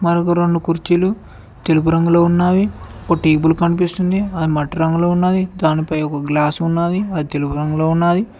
ఆడొక రెండు కుర్చీలు తెలుపు రంగులో ఉన్నావి ఒక టేబుల్ కనిపిస్తుంది అది మట్టి రంగులొ ఉన్నాది దాని పై ఒక గ్లాస్ ఉన్నాది అది తెలుపు రంగు లో ఉన్నాది.